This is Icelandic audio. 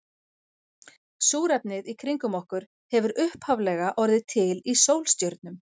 Súrefnið í kringum okkur hefur upphaflega orðið til í sólstjörnum.